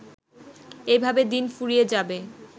এভাবে দিন ফুরিয়ে যাবে